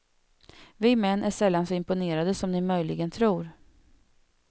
Vi män är sällan så imponerade som ni möjligen tror.